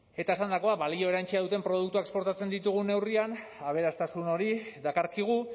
eta esandakoa balio erantsia duten produktuak esportatzen ditugun neurrian aberastasun hori dakarkigu